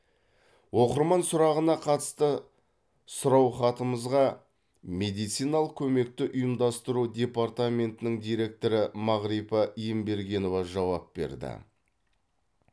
оқырман сұрағына қатысты сұраухатымызға медициналық көмекті ұйымдастыру департаментінің директоры мағрипа ембергенова жауап берді